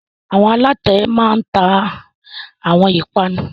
Àwọn alatẹ máa ń ta àwọn ìpanu